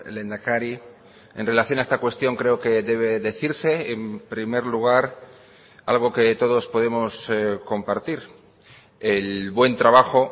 lehendakari en relación a esta cuestión creo que debe decirse en primer lugar algo que todos podemos compartir el buen trabajo